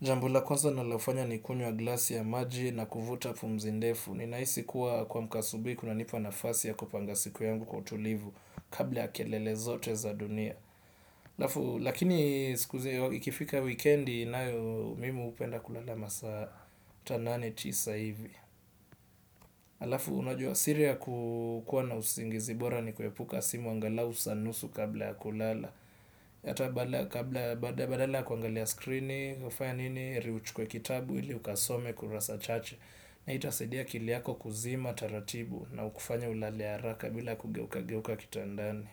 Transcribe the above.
Jambo la kwanza ninalofanya ni kunywa glasi ya maji na kuvuta pumzi ndefu. Ninahisi kuwa kumka asubuhi kunanipa nafasi ya kupanga siku yangu kwa utulivu kabla ya kelele zote za dunia. Halafu lakini siku zenye ikifika wikendi nayo mimi hupenda kulala masaa hata nane tisa hivi. Halafu unajua siri ya kukuwa na usingizi bora ni kuepuka simu angalau saa nusu kabla ya kulala. Hata badala ya kuangalia skrini hufanya nini heri uchukue kitabu ili ukasome kurasa chache, na hii itasaidia akili yako kuzima taratibu na ukufanye ulale haraka bila kugeukageuka kitandani.